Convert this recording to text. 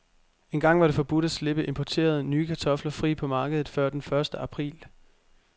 Engang var det forbudt at slippe importerede, nye kartofler fri på markedet før den første april.